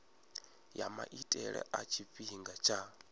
ya maitele a tshifhinga tsha